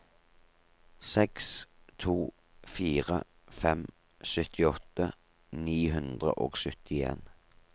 seks to fire fem syttiåtte ni hundre og syttien